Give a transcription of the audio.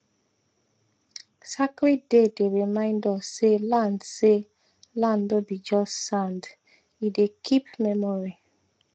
sacred day dey remind us say land say land no be just sande dey keep memory